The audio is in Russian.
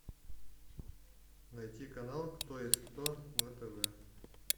найти канал кто есть кто на тв